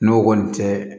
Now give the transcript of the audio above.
N'o kɔni tɛ